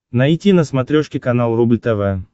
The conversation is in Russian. найти на смотрешке канал рубль тв